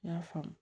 N y'a faamu